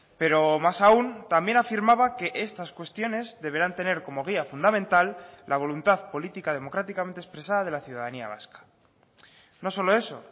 pero más aún también afirmaba que estas cuestiones deberán tener como guía fundamental la voluntad política democráticamente expresada de la ciudadanía vasca no solo eso